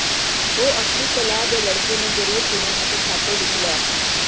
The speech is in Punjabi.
ਉਹ ਆਪਣੀ ਸਲਾਹ ਦੇ ਲੜਕੇ ਨੂੰ ਜ਼ਰੂਰ ਸੁਣਨ ਅਤੇ ਖਾਤੇ ਵਿੱਚ ਲੈ